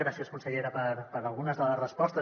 gràcies consellera per algunes de les respostes